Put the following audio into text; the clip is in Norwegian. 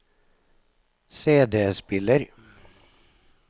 CD-spiller